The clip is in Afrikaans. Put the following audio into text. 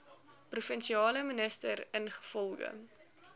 provinsiale minister ingevolge